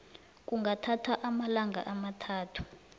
kungathatha amalanga amathathu